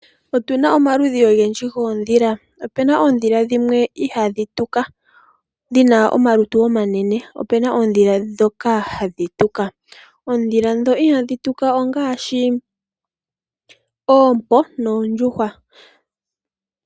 Otu na omaludhi ogendji goondhila. Opu na oodhila dhimwe ihaadhi tuka, dhina omalutu omanene. Opu na oondhila ndhoka hadhi tuka. Oondhila ndhono ihadhi tuka ongaashi oompo, noondjuhwa.